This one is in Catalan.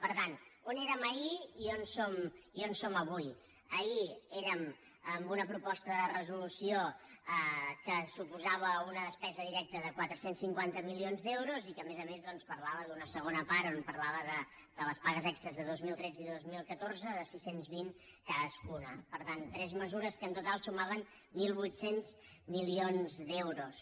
per tant on érem ahir i on som avui ahir érem amb una proposta de resolució que suposava una despesa directa de quatre cents i cinquanta milions d’euros i que a més a més doncs parlava d’una segona part on parlava de les pagues extres de dos mil tretze i de dos mil catorze de sis cents i vint cadascuna per tant tres mesures que en total sumaven mil vuit cents milions d’euros